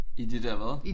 I de der hvad?